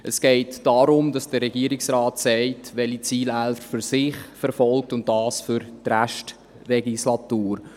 Es geht darum, dass der Regierungsrat sagt, welche Ziele er für den Rest der Legislatur verfolgt.